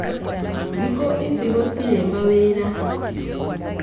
Thikũ ici gũtirĩ ma wĩra